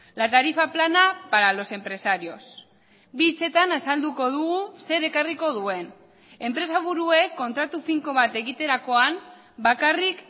la tarifa plana para los empresarios bi hitzetan azalduko dugu zer ekarriko duen enpresa buruek kontratu finko bat egiterakoan bakarrik